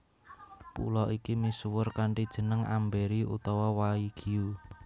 Pulo iki misuwur kanthi jeneng Amberi utawa Waigiu